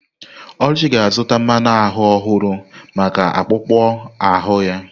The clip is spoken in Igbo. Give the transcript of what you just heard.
Oluchi ga-azụta mmanu ahu ọhụrụ maka akpụkpọ ahụ ya.